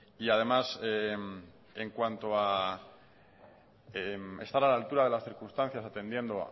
y además en cuanto a estar a la altura de las circunstancias atendiendo